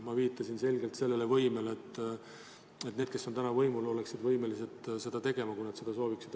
Ma viitasin selgelt sellele võimele, et need, kes on täna võimul, oleksid võimelised seda tegema, kui nad seda sooviksid.